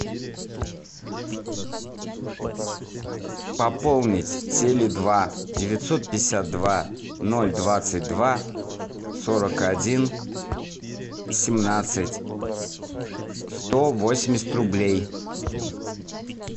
пополнить теле два девятьсот пятьдесят два ноль двадцать два сорок один семнадцать сто восемьдесят рублей